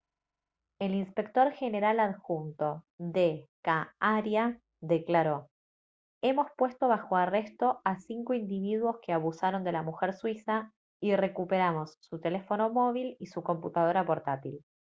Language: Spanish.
el inspector general adjunto d.k. arya declaró: «hemos puesto bajo arresto a cinco individuos que abusaron de la mujer suiza y recuperamos su teléfono móvil y su computadora portátil»